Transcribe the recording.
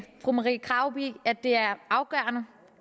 fru marie krarup i at det er afgørende